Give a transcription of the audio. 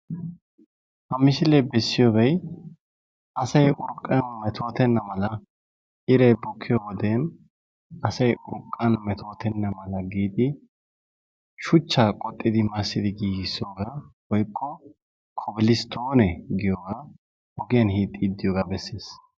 Ha misilee bessiyobay asay urqqan metootenna mala iray bukkiyode asay urqqan metootenna mala giidi shuchchaa qoxxidi massidi giigissoogaa woyikko "kobil stone "giyogaa ogiyan hiixxiiddi diyogaa besses.